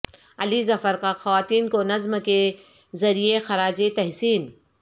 علی ظفر کا خواتین کو نظم کے ذریعے خراج تحسین